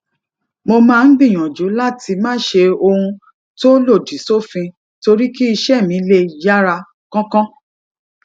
mo máa ń gbìyànjú láti má ṣe ṣe ohun tó lòdì sófin torí kí iṣé mi lè yára kánkán